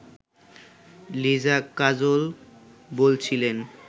লিজা কাজল বলছিলেন